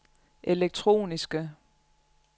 elektroniske